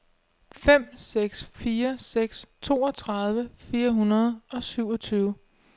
fem seks fire seks toogtredive fire hundrede og syvogtyve